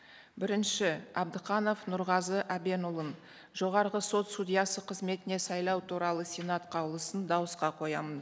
бірінші абдықанов нұрғазы әбенұлын жоғарғы сот судьясы қызметіне сайлау туралы сенат қаулысын дауысқа қоямын